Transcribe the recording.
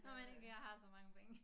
Når man ikke har så mange penge